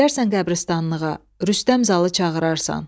Gedərsən qəbristanlığa, Rüstəm Zal-ı çağırarsan.